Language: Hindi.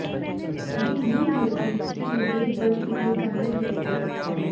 दिल यूँ धड़के कि लगे बज उठे कँगन जैसे